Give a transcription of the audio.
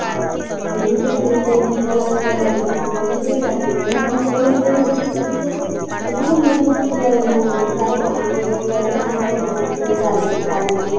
ମୁଁ ବି ସେଇ ତିନି ଚାରି ମାସ କଲା କଲିଣି ଏବେ ବି ସେଇ ଚାଲିଛି ମୁଁ hostel ରେ ଏବେ ରହୁଛି ଭୁବନେଶ୍ଵରରେ ଏଠି ବି ବହୁତ ବହୁତ ପିଲା ରହୁଛନ୍ତି ଚାରି ପାଞ୍ଚ ବର୍ଷ ହେଲାଣି ତାଙ୍କର continue ଚାଲିଛି ଚାଲିଛି